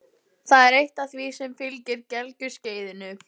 Það er eitt af því sem fylgir gelgjuskeiðinu.